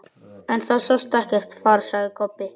En það sást ekkert far, sagði Kobbi.